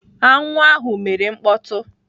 Aṅụ ahụ mere mkpọtụ.